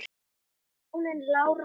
Hjónin Lára og